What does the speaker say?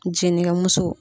Jinɛkɛmuso.